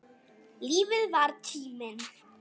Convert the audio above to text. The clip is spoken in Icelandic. Lífið var tíminn.